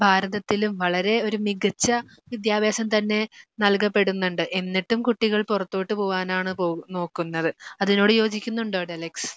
ഭാരതത്തിലും വളരെ ഒരു മികച്ച വിദ്യാഭ്യാസം തന്നെ നൽകപ്പെടുന്നുണ്ട്. എന്നിട്ടും കുട്ടികൾ പുറത്തോട്ട് പോവാനാണ് നോക്കുന്നത്. അതിനോട് യോജിക്കുന്നുണ്ടോ ഡെലക്സ്?